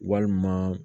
Walima